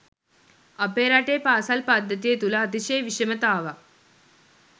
අපේ රටේ පාසල් පද්ධතිය තුළ අතිශය විෂමතාවක්